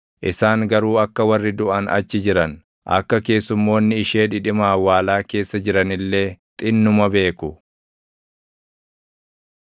Isaan garuu akka warri duʼan achi jiran, akka keessumoonni ishee dhidhima awwaalaa keessa jiran illee // xinnuma beeku.